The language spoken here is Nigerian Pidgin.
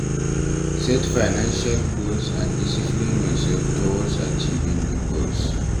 Set financial goals and discipline yourself towards achieving di goals